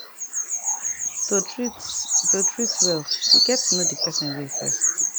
to treat to treat well u gets know d person way first